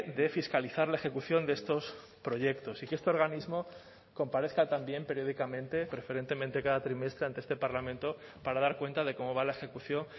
de fiscalizar la ejecución de estos proyectos y que este organismo comparezca también periódicamente preferentemente cada trimestre ante este parlamento para dar cuenta de cómo va la ejecución